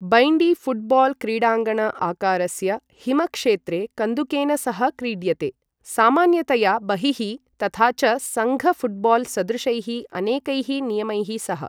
Bandy football क्रीडाङ्गण आकारस्य हिम क्षेत्रे कन्दुकेन सह क्रीड्यते, सामान्यतया बहिः, तथा च संघ फुटबॉल सदृशैः अनेकैः नियमैः सह ।